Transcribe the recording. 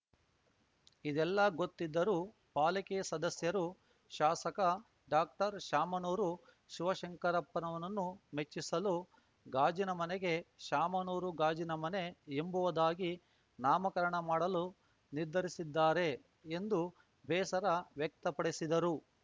ಇದೆಲ್ಲಾ ಗೊತ್ತಿದ್ದರೂ ಪಾಲಿಕೆ ಸದಸ್ಯರು ಶಾಸಕ ಡಾಕ್ಟರ್ಶಾಮನೂರು ಶಿವಶಂಕರಪ್ಪರನ್ನು ಮೆಚ್ಚಿಸಲು ಗಾಜಿನ ಮನೆಗೆ ಶಾಮನೂರು ಗಾಜಿನ ಮನೆ ಎಂಬುವುದಾಗಿ ನಾಮಕರಣ ಮಾಡಲು ನಿರ್ಧರಿಸಿದ್ದಾರೆ ಎಂದು ಬೇಸರ ವ್ಯಕ್ತಪಡಿಸಿದರು